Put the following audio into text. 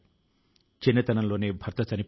ఆ సూచనల పై పని చేస్తున్నారు